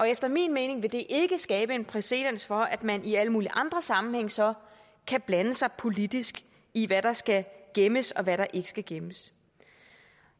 efter min mening vil det ikke skabe præcedens for at man i alle mulige andre sammenhænge så kan blande sig politisk i hvad der skal gemmes og hvad der ikke skal gemmes